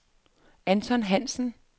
Anton Hansen